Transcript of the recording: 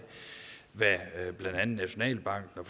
hvad blandt andet nationalbanken og